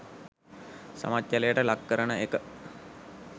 සමච්චලයට ලක් කරන එක.